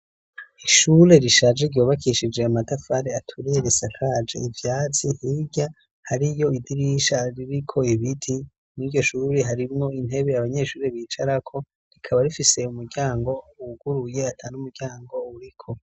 Ishure rishaje ryubakishije amatafari aturiye risakaje ivyatsi hirya hariyo idirisha ririko ibiti. Mw'iryoshure harimwo intebe abanyeshure bicarako rikaba. Rifise umuryango wuguruye atan'umuryango uriko.